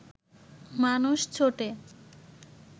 মানুষ ছোটে